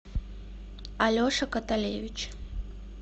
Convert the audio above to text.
алеша каталевич